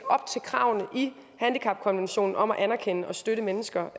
op til kravene i handicapkonventionen om at anerkende og støtte mennesker